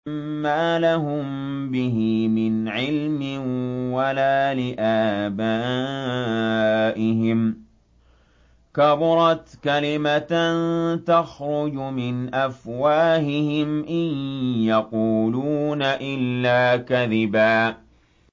مَّا لَهُم بِهِ مِنْ عِلْمٍ وَلَا لِآبَائِهِمْ ۚ كَبُرَتْ كَلِمَةً تَخْرُجُ مِنْ أَفْوَاهِهِمْ ۚ إِن يَقُولُونَ إِلَّا كَذِبًا